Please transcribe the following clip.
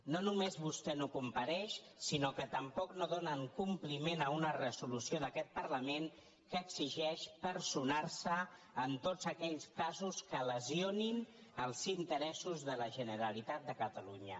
no només vostè no compareix sinó que tampoc no donen compliment a una resolució d’aquest parlament que exigeix personar·se en tots aquells ca·sos que lesionin els interessos de la generalitat de ca·talunya